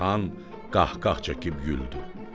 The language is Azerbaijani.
Xan qahqah çəkib güldü.